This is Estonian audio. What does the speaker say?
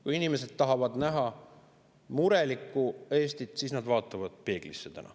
Kui inimesed tahavad näha murelikku Eestit, siis nad vaatavad peeglisse.